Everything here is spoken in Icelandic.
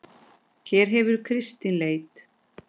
Hér hefur Kristín leit.